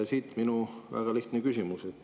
Siit minu väga lihtne küsimus.